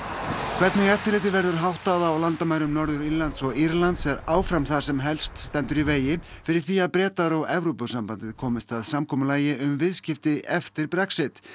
hvernig eftirliti verður háttað á landamærum Norður Írlands og Írlands er áfram það sem helst stendur í vegi fyrir því að Bretar og Evrópusambandið komist að samkomulagi um viðskipti eftir Brexit